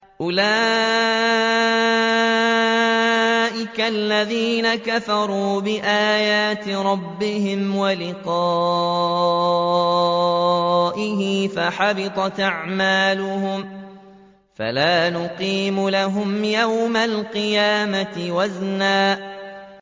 أُولَٰئِكَ الَّذِينَ كَفَرُوا بِآيَاتِ رَبِّهِمْ وَلِقَائِهِ فَحَبِطَتْ أَعْمَالُهُمْ فَلَا نُقِيمُ لَهُمْ يَوْمَ الْقِيَامَةِ وَزْنًا